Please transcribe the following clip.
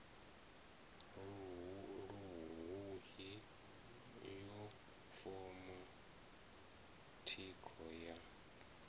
luhuhi yo foma thikho ya